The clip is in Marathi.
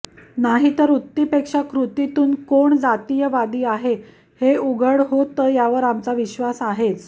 नाहीतर उक्तीपेक्षा पेक्षा कृतीतून कोण जातीयवादी आहे हे उघड होतं यावर आमचा विश्वास आहेच